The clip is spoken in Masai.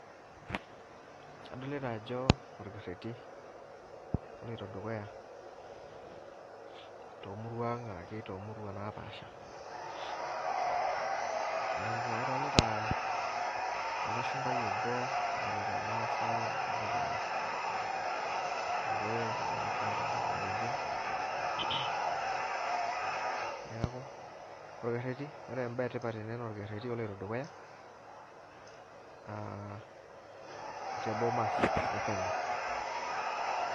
Adolita ajo orkereti oloito dukuya tomurua aang ashu tomurua napaasha adolita olashumbai obo tiatu irmaasai , irkokoyo mbaka irkalenjin neaku orekereti ore embae edukuya na orkereri oloito dukuya aa te bomas e kenya.